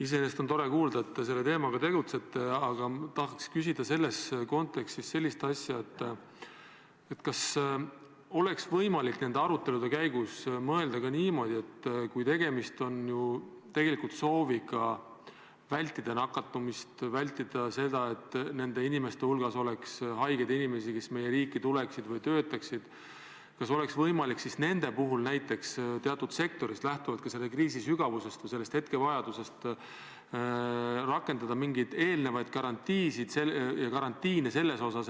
Iseenesest on tore kuulda, et te selle teemaga tegelete, aga ma tahan selles kontekstis küsida sellist asja, kas oleks võimalik nende arutelude käigus mõelda ka niimoodi, et kui tegemist on sooviga vältida nakatumist, ära hoida seda, et meie riiki tuleksid ja siin töötaksid ka haiged inimesed, kas oleks võimalik siis nende puhul teatud sektoris ja lähtuvalt kriisi sügavusest või hetkevajadusest rakendada mingeid eelnevaid garantiisid ja karantiine?